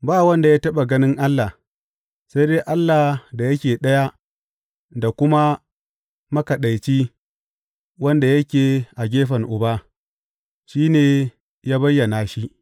Ba wanda ya taɓa ganin Allah, sai dai Allah da yake Ɗaya da kuma Makaɗaici wanda yake a gefen Uba, shi ne ya bayyana shi.